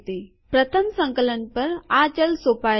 પ્રથમ સંકલન પર આ ચલ સોંપાયેલ નથી